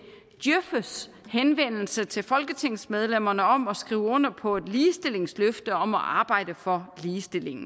djøfs henvendelse til folketingsmedlemmerne om at skrive under på et ligestillingsløfte om at arbejde for ligestilling